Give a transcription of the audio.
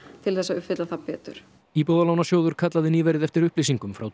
til að uppfylla það betur íbúðalánasjóður kallaði nýverið eftir upplýsingum frá